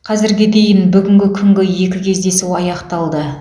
қазірге дейін бүгінгі күнгі екі кездесу аяқталды